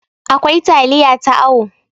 akwai taliya ta awo